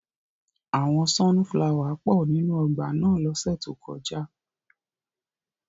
Awọn sọnufulawa pọ ninu ọgba náa lọse to koja.